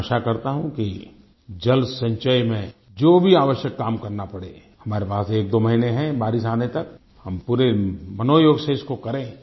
मैं आशा करता हूँ कि जल संचय में जो भी आवश्यक काम करना पड़े हमारे पास एकदो महीने हैं बारिश आने तक हम पूरे मनोयोग से इसको करें